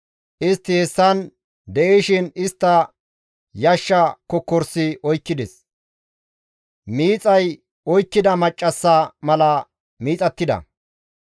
Istti hessan de7ishin istta yashsha kokkorisi oykkides; miixay oykkida maccassa mala miixattida.